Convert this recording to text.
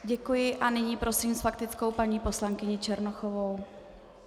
Děkuji a nyní prosím s faktickou paní poslankyni Černochovou.